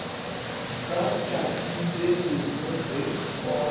ka tšatši le lengwe ge